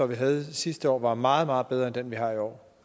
vi havde sidste år var meget meget bedre end den vi har i år